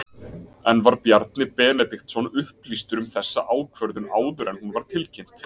En var Bjarni Benediktsson upplýstur um þessa ákvörðun áður en hún var tilkynnt?